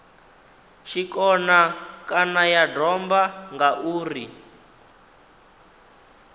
tshikona kana ya domba ngauri